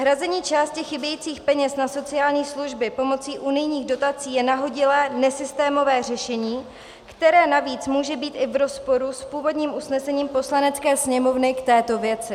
Hrazení části chybějících peněz na sociální služby pomocí unijních dotací je nahodilé, nesystémové řešení, které navíc může být i v rozporu s původním usnesením Poslanecké sněmovny k této věci.